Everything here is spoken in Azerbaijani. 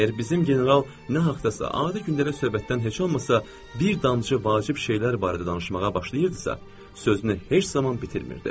Əgər bizim general nə haqdasa adi gündəlik söhbətdən heç olmasa bir damcı vacib şeylər barədə danışmağa başlayırdısa, sözünü heç zaman bitirmirdi.